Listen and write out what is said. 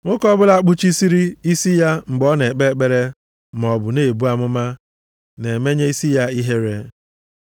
Nwoke ọbụla kpuchiri isi ya mgbe ọ na-ekpe ekpere maọbụ na-ebu amụma + 11:4 Maọbụ, na-akụzi ihe na-emenye isi ya ihere.